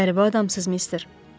Qəribə adamsız mister.